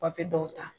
Papiye dɔw ta